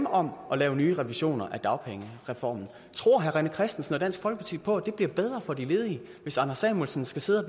om at lave nye revisioner af dagpengereformen tror herre rené christensen og dansk folkeparti på at det bliver bedre for de ledige hvis anders samuelsen skal sidde og